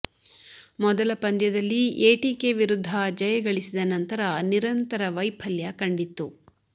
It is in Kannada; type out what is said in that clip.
ಮೊದಲ ಪಂದ್ಯದಲ್ಲಿ ಎಟಿಕೆ ವಿರುದ್ಧ ಜಯ ಗಳಿಸಿದ ನಂತರ ನಿರಂತರ ವೈಫಲ್ಯ ಕಂಡಿತ್ತು